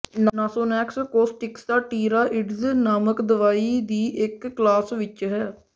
Nasonex corticosteroids ਨਾਮਕ ਦਵਾਈ ਦੀ ਇੱਕ ਕਲਾਸ ਵਿੱਚ ਹੈ